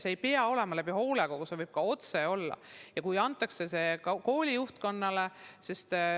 See ei pea olema läbi hoolekogu, see võib olla ka otse, nii et see antakse kooli juhtkonnale.